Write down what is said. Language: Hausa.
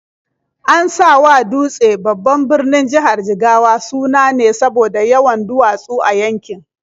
An sawa Dutse, babban birnin jihar Jigawa, suna ne saboda yawan duwatsu a yankin.